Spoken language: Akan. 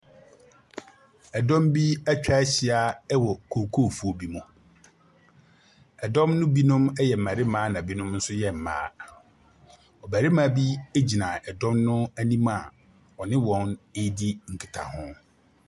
Dɔm bi atwa ahyia wɔ kookoofuo bi mu. Dɔm no binom yɛ mmarima na binom nso yɛ mmaa. Ɔbarima bi gyina dɔm no anim a ɔne wɔn redi nkitaho.